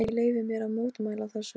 En ég leyfi mér að mótmæla þessu.